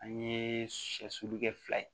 An ye sɛ sugu kɛ fila ye